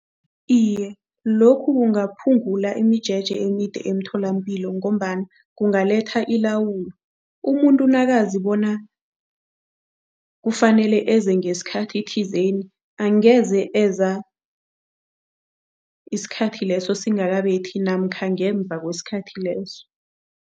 Iye, lokhu kungaphungula imijeje emide emtholampilo ngombana kungaletha ilawulo. Umuntu nakazi bona kufanele eze ngesikhathi thizeni, angeze eza isikhathi leso singakabethi namkha ngemva kwesikhathi leso.